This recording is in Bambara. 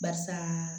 Barisa